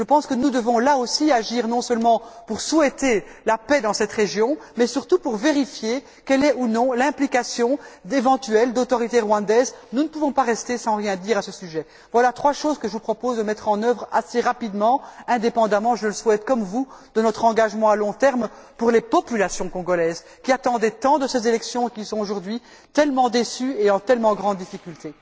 Je pense que nous devons, là aussi, agir non seulement pour souhaiter la paix dans cette région mais, surtout, pour vérifier quelle est ou non l'implication éventuelle d'autorités rwandaises. Nous ne pouvons pas rester sans rien dire à ce sujet. Voilà trois choses que je vous propose de mettre en œuvre assez rapidement, indépendamment je le souhaite comme vous de notre engagement à long terme pour les populations congolaises qui attendaient tant de ces élections et qui sont, aujourd'hui, tellement déçues et en si grande difficulté.